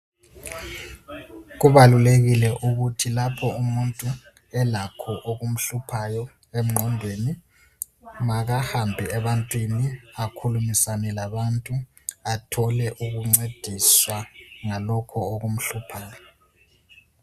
Kubalulekile ukuthi lapho umuntu elakho okumhluphayo engqondweni makahambe ebantwini akhulumisane labantu athole ukuncediswa ngalokho okumhluphayo.